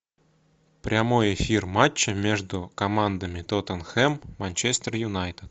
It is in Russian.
прямой эфир матча между командами тоттенхэм манчестер юнайтед